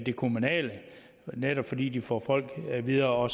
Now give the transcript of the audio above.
kommunale netop fordi de får folk videre